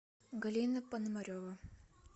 галина пономарева